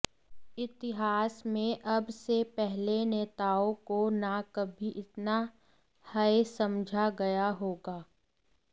इतिहास में अब से पहले नेताओं को न कभी इतना हेय समझा गया होगा